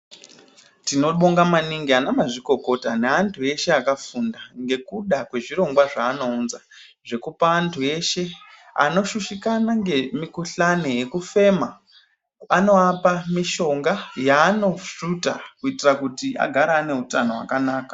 Tinobonga maningi ana mazvikokota neantu eshe akafunda. Ngekuda kwezvirongwa zveanounza, zvekupa antu eshe anoshushikana ngemikuhlani yekufema, anoapa mishonga, yeanosvuta kuitira kuti agare ane utano wakanaka.